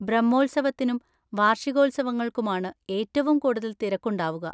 ബ്രഹ്മോത്സവത്തിനും വാർഷികോത്സവങ്ങൾക്കുമാണ് ഏറ്റവും കൂടുതൽ തിരക്കുണ്ടാവുക.